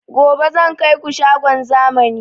Gobe zan kaiku shagon zamani